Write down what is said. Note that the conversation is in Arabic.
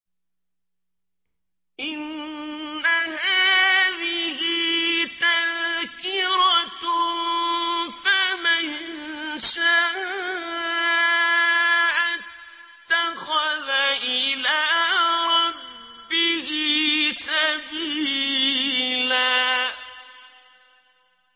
إِنَّ هَٰذِهِ تَذْكِرَةٌ ۖ فَمَن شَاءَ اتَّخَذَ إِلَىٰ رَبِّهِ سَبِيلًا